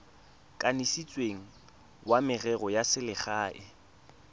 kanisitsweng wa merero ya selegae